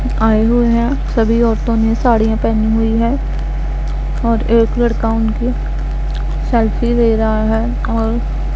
आई हुई है। सभी औरतों ने साड़ियां पेहनी हुई है और एक लड़का उनकी सेल्फी ले रहा है और --